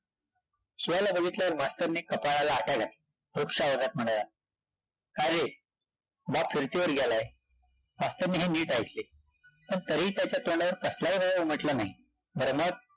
शिवाला बघीतल्यावर मास्तरनी कपाळाला आठ्या घातल्या, रुक्ष आवाजात म्हणाला, काय रे बाप फिरतीवर गेलाय? मास्तरनी हे नीट ऐकले, पण तरीही त्याच्या तोंडावर कसलाही हेवा उमटला नाही, बरं, मग?